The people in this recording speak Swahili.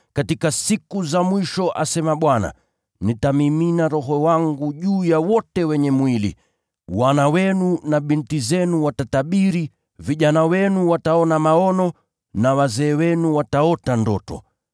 “ ‘Katika siku za mwisho, asema Mungu, nitamimina Roho wangu juu ya wote wenye mwili. Wana wenu na binti zenu watatabiri, vijana wenu wataona maono, na wazee wenu wataota ndoto.